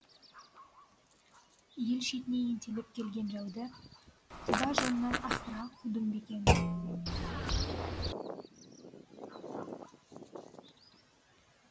ел шетіне ентелеп келген жауды құба жоннан асыра қудымбекен